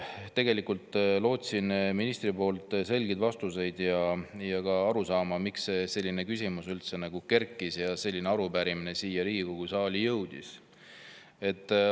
Tegelikult lootsin ministrilt selgeid vastuseid ja ka arusaama, miks selline küsimus üldse kerkis ja selline arupärimine siia Riigikogu saali jõudis.